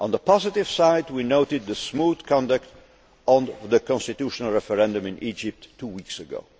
On the positive side, we noted the smooth conduct of the constitutional referendum in Egypt two weeks